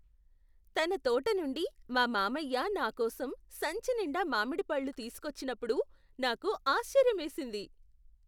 తన తోట నుండి మా మామయ్య నాకోసం సంచి నిండా మామిడి పళ్ళు తీసుకువచ్చినప్పుడు నాకు ఆశ్చర్యమేసింది.